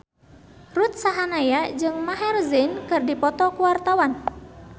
Ruth Sahanaya jeung Maher Zein keur dipoto ku wartawan